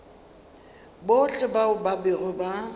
bohle bao ba bego ba